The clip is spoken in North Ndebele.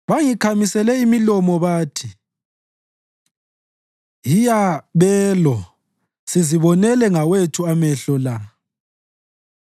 Bangikhamisela imilomo bathi, “Hiya belo! Sizibonele ngawethu amehlo la.”